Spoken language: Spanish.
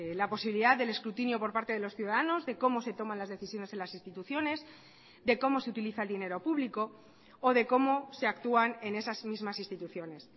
la posibilidad del escrutinio por parte de los ciudadanos de cómo se toman las decisiones en las instituciones de cómo se utiliza el dinero público o de cómo se actúan en esas mismas instituciones